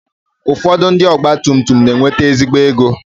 Ụfọdụ ndị ọgba tum tum na-enwete ezigbo ego.